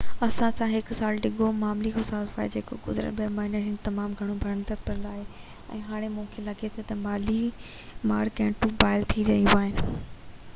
اسان کي هڪ سال ڊگهو مالي خصارو آهي جيڪو گذريل ٻہ مهينن ۾ هن جو تمام گهڻو پيڙيندڙ پل رهيو آهي ۽ هاڻي مونکي لڳي ٿو تہ مالي مارڪيٽون بحال ٿي رهيون آهن